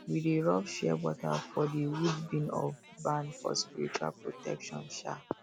we dey rub shea butter for the um wood beam um of barn for spiritual protection um